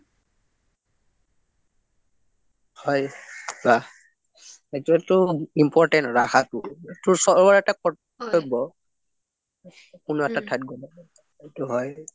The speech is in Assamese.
হয় বা সেইটোটো important ৰাখাটো সেইটো চবৰৰে এটা কৰ্তব্য কোনো এটা ঠাইত গলে সেইটো হয়